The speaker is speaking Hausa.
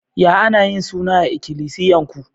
Ya ana yin suna a'ikilisiyan ku?